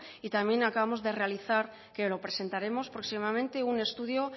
y también acabamos de realizar que lo presentaremos próximamente un estudio